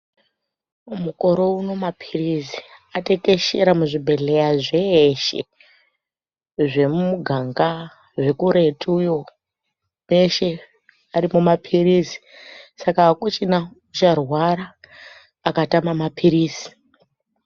Mukore unowu mapirizi atekeshera muzvibhedhlera zveshe zvemumuganga zvekuretu iyo kweshe aripo mapirizi saka akuchina acharwara akatama mapirizi.